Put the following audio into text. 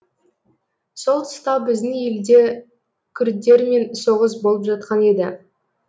сол тұста біздің елде күрдтермен соғыс болып жатқан еді